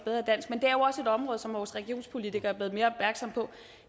et område som vores regionspolitikere